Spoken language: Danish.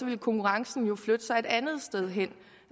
ville konkurrencen jo flytte sig et andet sted hen